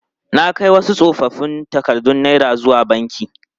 Na kai wasu tsofoffin takardun naira zuwa banki.